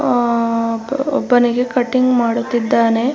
ಅಹ್ಹ್ ಒಬ್ಬನಿಗೆ ಕಟಿಂಗ್ ಮಾಡುತ್ತಿದ್ದಾನೆ.